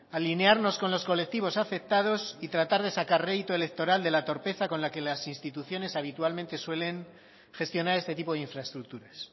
alinearnos con los colectivos afectados y tratar de sacar rédito electoral de la torpeza con la que las instituciones habitualmente suelen gestionar este tipo de infraestructuras